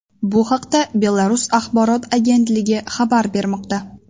Bu haqda Belarus axborot agentligi xabar bermoqda .